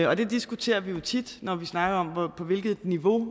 og det diskuterer vi jo tit når vi snakker om på hvilket niveau